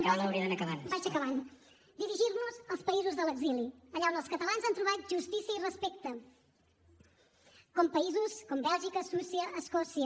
vaig acabant dirigir nos als països de l’exili allà on els catalans han trobat justícia i respecte països com bèlgica suïssa escòcia